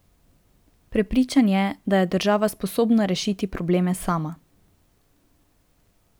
Prepričan je, da je država sposobna rešiti probleme sama.